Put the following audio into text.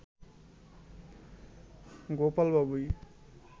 গোপাল বাবুই